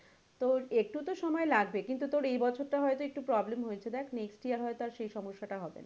তো একটু তো সময় লাগবে কিন্তু তোর এই বছর টা হয়তো একটু problem হয়েছে দেখ next year হয়ত আর সেই সমস্যা টা হবে না।